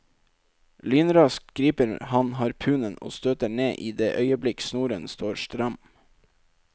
Lynraskt griper han harpunen og støter ned i det øyeblikk snoren står stram.